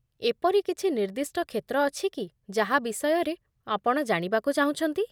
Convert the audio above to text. ଏପରି କିଛି ନିର୍ଦ୍ଦିଷ୍ଟ କ୍ଷେତ୍ର ଅଛି କି ଯାହା ବିଷୟରେ ଆପଣ ଜାଣିବାକୁ ଚାହୁଁଛନ୍ତି?